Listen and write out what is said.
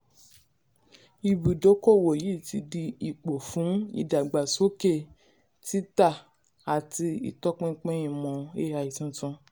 ibùdókòwò yìí ti di ipò fún ìdàgbàsókè títà àti ìtọ́pinpin ìmọ̀ ai tuntun.